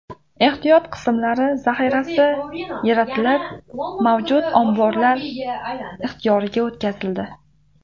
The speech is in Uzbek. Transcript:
Ehtiyot qismlari zaxirasi yaratilib, mavjud omborlar ixtiyoriga o‘tkazildi.